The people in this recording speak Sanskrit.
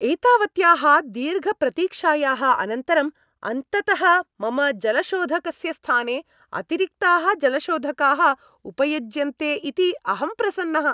एतावत्याः दीर्घप्रतीक्षायाः अनन्तरम् अन्ततः मम जलशोधकस्य स्थाने अतिरिक्ताः जलशोधकाः उपयुज्यन्ते इति अहं प्रसन्नः।